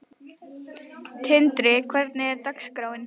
Tindri, hvernig er dagskráin?